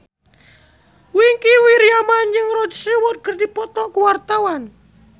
Wingky Wiryawan jeung Rod Stewart keur dipoto ku wartawan